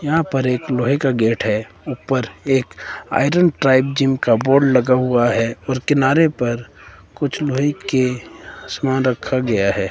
यहां पर एक लोहे का गेट है ऊपर एक आयरन ट्राइब जिम का बोर्ड लगा हुआ है और किनारे पर कुछ लोहे के समान रखा गया है।